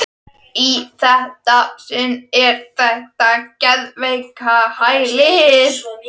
Í þetta sinn er það geðveikrahælið.